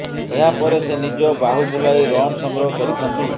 ଏହା ପରେ ସେ ନିଜ ବାହୁ ବୁଲାଇ ରନ୍ ସଂଗ୍ରହ କରିଥାନ୍ତି